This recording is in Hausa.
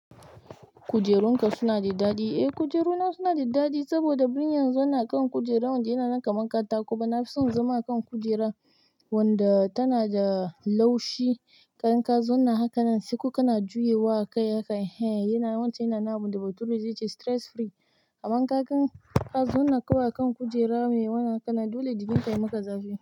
Kujerunka suna da daɗi? Eh kujerunana suna da daɗi saboda birni yanzu ana kan kujera wanda yana nan kamar katako. Amma nafi son zama a kan kujera wanda tana da laushi. Idan ka zauna hakanan sai kuka na juyewa akai akai yana wance yana na abin da bature zai ce stress free. Aman inkagan ka zauna kawai a kan kujera ne wannan hakana dole jikin ka yamaka zafi.